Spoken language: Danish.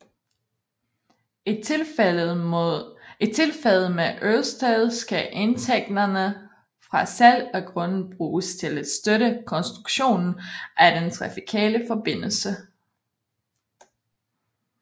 I tilfældet med Ørestad skal indtægterne fra salg af grunde bruges til at støtte konstruktionen af den trafikale forbindelse